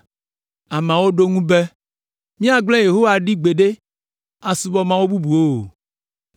Ameawo ɖo eŋu be, “Míagblẽ Yehowa ɖi gbeɖe asubɔ mawu bubuwo o,